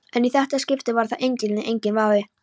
En í þetta skipti var það engillinn, enginn vafi.